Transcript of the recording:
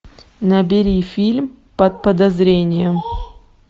набери фильм под подозрением